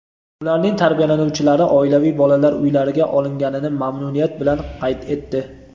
ularning tarbiyalanuvchilari oilaviy bolalar uylariga olinganini mamnuniyat bilan qayd etdi.